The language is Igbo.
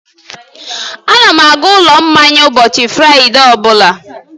Ana m aga ụlọ mmanya ụbọchị Fraịde ọ bụla